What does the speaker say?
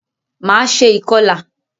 Máa ṣe ìkọlà.